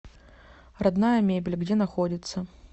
родная мебель где находится